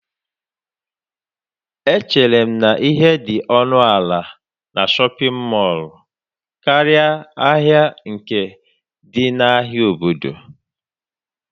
Echere m na ihe dị ọnụ ala na shọpin mọll karịa ahịa nke dị n'ahịa obodo.